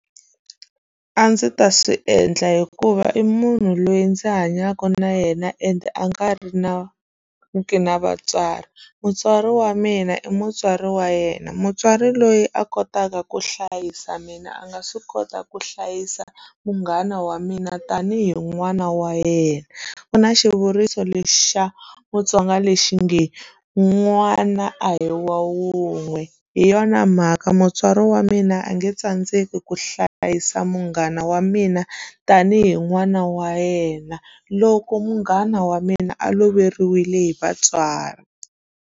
A ndzi ta swi endla hikuva i munhu loyi ndzi hanyaka na yena ende a nga ri na ri ki na vatswari mutswari wa mina i mutswari wa yena mutswari loyi a kotaka ku hlayisa mina a nga swi kota ku hlayisa munghana wa mina tanihi n'wana wa yena ku na xivuriso lexi xa mutsonga lexi nge n'wana a hi wa wun'we hi yona mhaka mutswari wa mina a nge tsandzeki ku hlayisa munghana wa mina tanihi n'wana wa yena loko munghana wa mina a loveriwile hi vatswari.